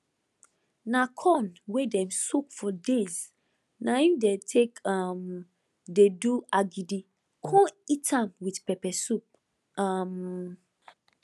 na corn wey dem soak for days na im dey take um dey do agidi con eat am with pepper soup um